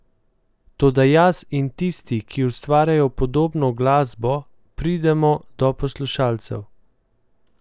Toda jaz in tisti, ki ustvarjajo podobno glasbo, pridemo do poslušalcev.